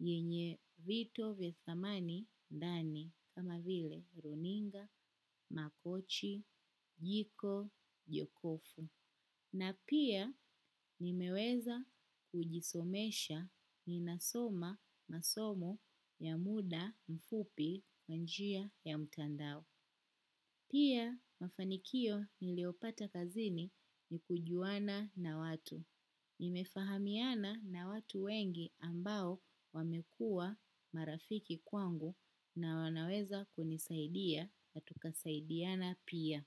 yenye vito vya thamani dani kama vile runinga, makochi, jiko, jokofu. Na pia nimeweza kujisomesha ninasoma masomo ya muda mfupi kwa njia ya mtandao. Pia mafanikio niliopata kazini ni kujuana na watu. Nimefahamiana na watu wengi ambao wamekua marafiki kwangu na wanaweza kunisaidia na tukasaidiana pia.